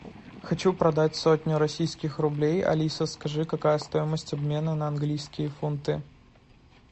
хочу продать сотню российских рублей алиса скажи какая стоимость обмена на английские фунты